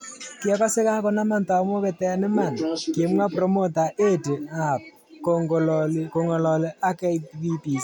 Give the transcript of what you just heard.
" Kiakose kokanama tamoket eng iman", kimwa Promota Eddie Hearb kongololi ak BBC.